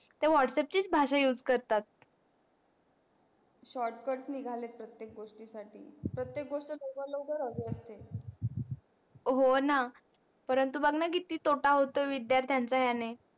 त्या whatsapp चीच भाषा use करतात. shortcut निगाले प्रतेक गोष्टी साठी प्रतेक गोष्ट लवकर लवकर हवी असते. हो णा परंतु बग णा किती तोटा होतो विद्यार्थ्यांचा याने